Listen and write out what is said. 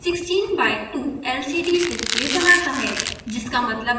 display 16x2 lcd display बनाता है